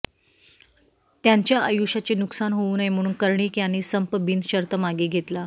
त्यांच्या आयुष्याचे नुकसान होऊ नये म्हणून कर्णिक यांनी संप बिनशर्त मागे घेतला